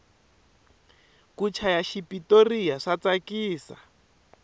ku chaya xipotoriya swa tsakisa